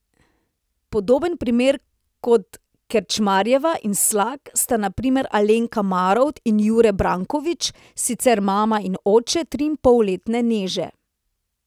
Podoben primer kot Kerčmarjeva in Slak sta na primer Alenka Marovt in Jure Brankovič, sicer mama in oče triinpolletne Neže.